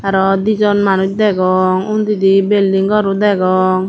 aro dijon manus degong undidi belding garow degong.